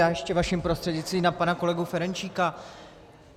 Já ještě vaším prostřednictvím na pana kolegu Ferjenčíka.